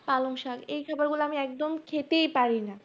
পালং শাক এই খাবারগুলো আমি একদম খেতেই পারিনা